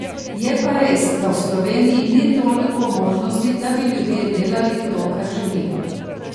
Je pa res, da v Sloveniji ni toliko možnosti, da bi ljudje delali to, kar želijo.